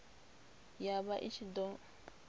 ya vha i ṱshi ḓo